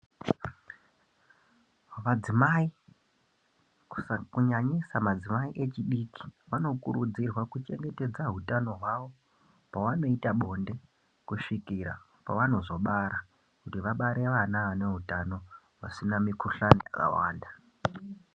Vadzimai kunyanyisa madzimai echidiki vanokurudzirwa kuchengetedza hutano hwavo pavanoita bonde kusvikira pavanozobara. Kuti vabere vana vane hutano vasina mikuhlani yakawanda.